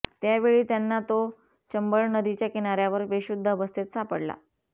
त्यावेळी त्यांना तो चंबळ नदीच्या किनाऱ्यावर बेशुद्ध अवस्थेत सापडला